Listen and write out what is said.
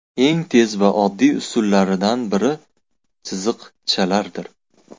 Eng tez va oddiy usullaridan biri chiziqchalardir.